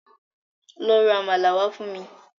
Lọ ra àmàlà wá fún mi